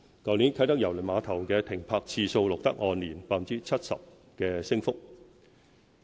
去年啟德郵輪碼頭的停泊次數錄得按年 70% 的升幅。